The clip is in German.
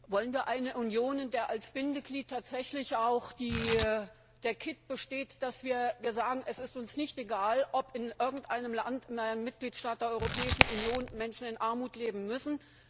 Wollen wir eine Union, in der als Bindeglied tatsächlich auch der Kitt besteht, dass wir sagen, es ist uns nicht egal, ob in irgendeinem Mitgliedstaat der Europäischen Union Menschen in Armut leben müssen?